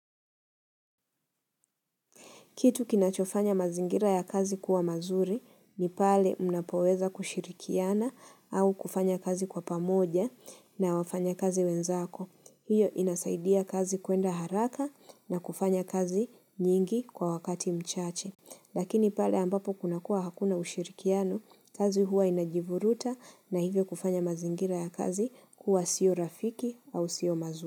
Kitu kinachofanya mazingira ya kazi kuwa mazuri ni pale mnapoweza kushirikiana au kufanya kazi kwa pamoja na wafanya kazi wenzako. Hiyo inasaidia kazi kuenda haraka na kufanya kazi nyingi kwa wakati mchache. Lakini pale ambapo kuna kuwa hakuna ushirikiano kazi huwa inajivuruta na hivyo kufanya mazingira ya kazi kuwa sio rafiki au sio mazuri.